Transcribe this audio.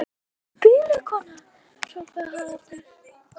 Ertu eitthvað biluð kona, hrópaði Haraldur.